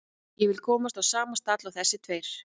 Ég vil komast á sama stall og þessir tveir.